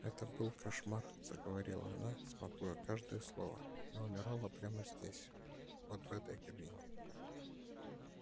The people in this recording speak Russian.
это был кошмар заговорила она смакуя каждое слово я умерла прямо здесь вот в этой кабине